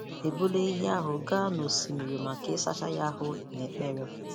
E buru ehi ahụ gaa n’osimiri maka ịsacha ya ahụ na ekpere.